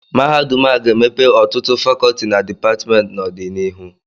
Mahadum a ga-emepe ọtụtụ Fakọọti na Dipatmentị n'ọdịnihu